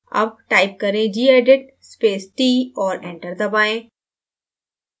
अब type करें gedit space t और enter दबाएँ